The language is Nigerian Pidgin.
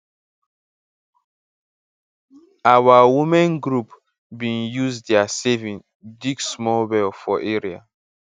our women group bin use diir saving dig small well for area